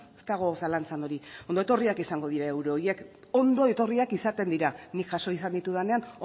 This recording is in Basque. ez dago zalantzan hori ondo etorriak izango dira euro horiek ondo etorriak izaten dira nik jaso izan ditudanean